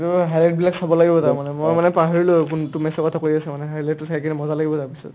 সেইটোৱে চাব লাগিব তাৰমানে মই মানে পাহৰিলো কোনটো match ৰ কথা কৈ আছে মানে highlight টো চাই পিনে মজা লাগিব তাৰ পিছত